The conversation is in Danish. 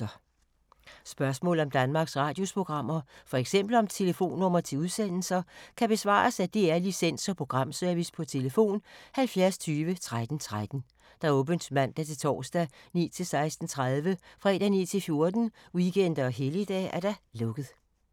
Spørgsmål om Danmarks Radios programmer, f.eks. om telefonnumre til udsendelser, kan besvares af DR Licens- og Programservice: tlf. 70 20 13 13, åbent mandag-torsdag 9.00-16.30, fredag 9.00-14.00, weekender og helligdage: lukket.